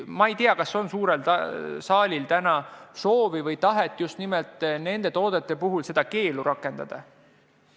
Ma ei tea, kas suurel saalil on täna soovi nimelt nende toodete puhul seda keeldu rakendada.